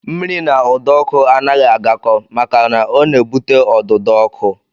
Mmiri na ụdọọkụ anaghị agakọ maka na ọ na-ebute ọdụdọọkụ